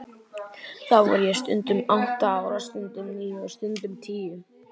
Þá var ég stundum átta ára, stundum níu og stundum tíu.